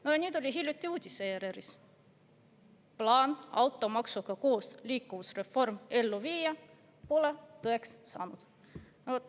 ERR-is oli hiljuti uudis "Plaan automaksuga koos liikuvusreform ellu viia pole tõeks saanud".